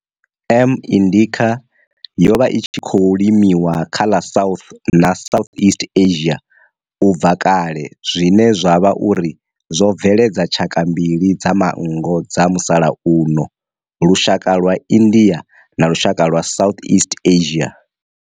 M. indica yo vha i tshi khou limiwa kha ḽa South na Southeast Asia ubva kale zwine zwa vha uri zwo bveledza tshaka mbili dza manngo dza musalauno lushaka lwa India na lushaka lwa South East Asia.